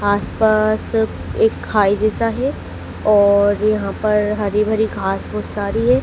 आस पास एक खाई जैसा है और यहां पर हरी भरी घास फूस सारी है।